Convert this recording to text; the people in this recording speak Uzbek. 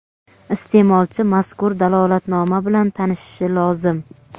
Isteʼmolchi mazkur dalolatnoma bilan tanishishi lozim.